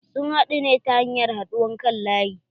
Sun haɗu ne ta hanyar haɗuwar kan laƴi.